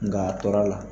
Nka a tɔɔrɔ la